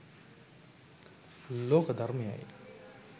ලෝක ධර්මයයයි.